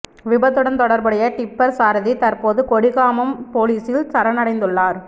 விபத்துடன் தொடர்புடைய டிப்பர் சாரதி தற்போது கொடிகாமம் பொலிஸில் சரணடைந்துள்ளார்